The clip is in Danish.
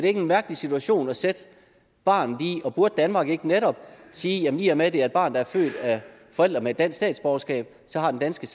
en mærkelig situation at sætte barnet i og burde danmark ikke netop sige at i og med at det er et barn der er født af forældre med et dansk statsborgerskab så har den danske